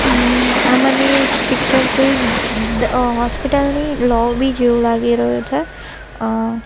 હમ્ આ મને પિક્ચર કોઈ દ હોસ્પિટલ ની લોબી જેવું લાગી રહ્યું છે અ--